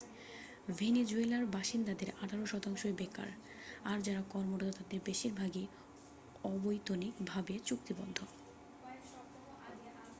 ভেনিজুয়েলার বাসিন্দাদের আঠারো শতাংশই বেকার আর যারা কর্মরত তাদের বেশিরভাগই অবৈতনিক ভাবে চুক্তিবদ্ধ